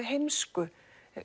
heimsku